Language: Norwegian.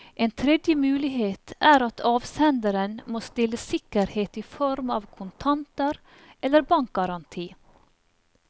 En tredje mulighet er at avsenderen må stille sikkerhet i form av kontanter eller bankgaranti.